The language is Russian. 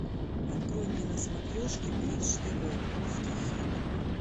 открой мне на смотрешке бридж тв русский хит